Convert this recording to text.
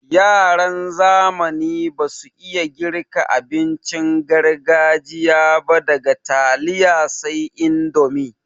Yaran zamani basu iya girka abincin gargajiya ba daga taliya sai indomi.